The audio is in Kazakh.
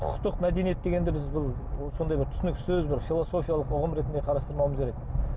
құқықтық мәдениет дегенді біз бұл сондай бір түсініксіз бір философилық ұғым ретінде қарастырмауымыз керек